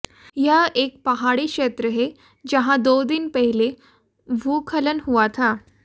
यह एक पहाड़ी क्षेत्र है जहां दो दिन पहले भूस्खलन हुआ था